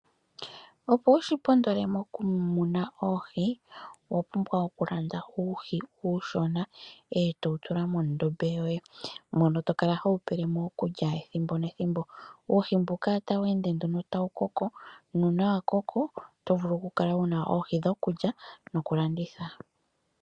Opo wu shi pondole mokumuna oohi owa pumbwa okumuna uuhi uushona e to wu tula mondombe yoye mono to kala ho wu pele mo iikulya ethimbo nethimbo. Uuhi mbuka otawu ende nduno tawu koko nuuna wa koko oto vulu okukala wu na oohi dhokulya nokulanditha.